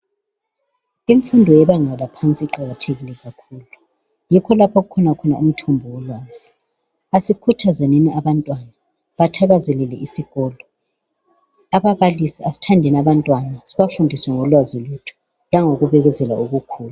Imfundo yebanga laphansi iqakathekile kakhulu yikho lapho okulomthombo wolwazi, asikhuthazenini abantwana bathande isikolo, babalisi asithandeni abantwana sibafundise ngolwazi lwethu langokubekezela okukhulu.